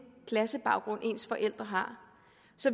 klassebaggrund ens forældre har